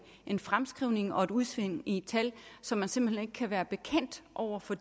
en fremskrivning og et udsving i et tal som man simpelt hen ikke kan være bekendt over for